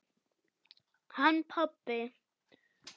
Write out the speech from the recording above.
Hann pabbi?